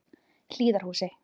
Hlíðarhúsi